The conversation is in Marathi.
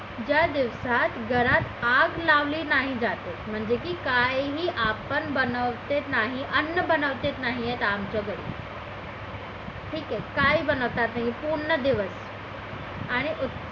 ज्या दिवसात घरात आग लावली नाही जाते म्हणजे की काहीही आपण बनवत नाही अण्ण बनवत नाही आम्ही सगळे ठीक आहे काही बनवत नाही पूर्ण दिवस